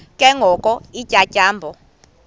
ke ngoko iintyatyambo